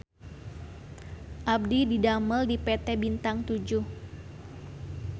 Abdi didamel di PT Bintang Toejoeh